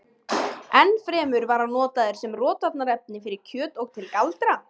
enn fremur var hann notaður sem rotvarnarefni fyrir kjöt og til galdra